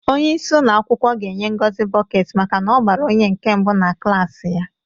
Onye isi ụlọ akwụkwọ ga-enye Ngozi bọket maka na-ọgbara one nke mbụ na klaasị ya.